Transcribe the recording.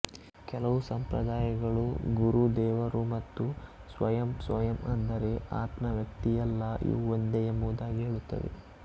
ಕೆಲವು ಸಂಪ್ರದಾಯಗಳು ಗುರು ದೇವರು ಮತ್ತು ಸ್ವಯಂ ಸ್ವಯಂ ಅಂದರೆ ಆತ್ಮ ವ್ಯಕ್ತಿಯಲ್ಲ ಇವು ಒಂದೇ ಎಂಬುದಾಗಿ ಹೇಳುತ್ತವೆ